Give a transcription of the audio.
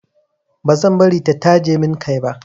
Ba zan bari ta taje min kai ba.